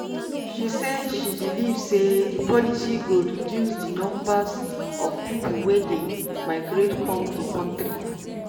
she say she believe say di policy go reduce di numbers of pipo wey dey migrate come di kontri